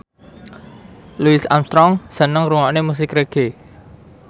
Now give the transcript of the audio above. Louis Armstrong seneng ngrungokne musik reggae